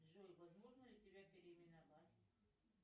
джой возможно ли тебя переименовать